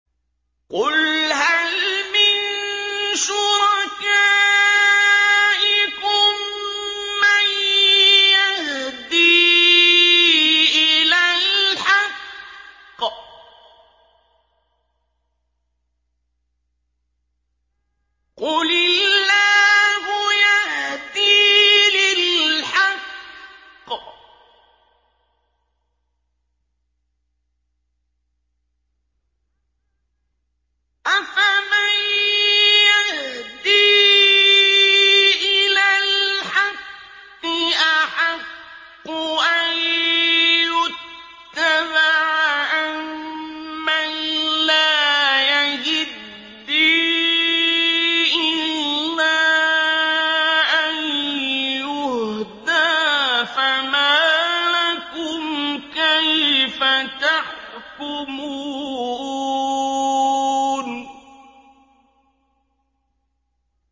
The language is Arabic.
قُلْ هَلْ مِن شُرَكَائِكُم مَّن يَهْدِي إِلَى الْحَقِّ ۚ قُلِ اللَّهُ يَهْدِي لِلْحَقِّ ۗ أَفَمَن يَهْدِي إِلَى الْحَقِّ أَحَقُّ أَن يُتَّبَعَ أَمَّن لَّا يَهِدِّي إِلَّا أَن يُهْدَىٰ ۖ فَمَا لَكُمْ كَيْفَ تَحْكُمُونَ